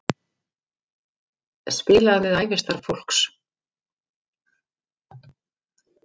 Spilað með ævistarf fólks